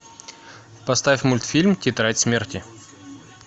поставь мультфильм тетрадь смерти